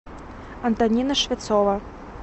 антонина швецова